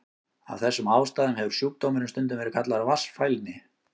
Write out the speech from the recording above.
Af þessum ástæðum hefur sjúkdómurinn stundum verið kallaður vatnsfælni.